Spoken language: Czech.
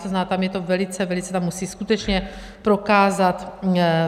To znamená, tam je to velice, velice, tam musí skutečně prokázat...